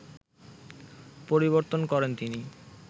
পরিবর্তন করেন তিনি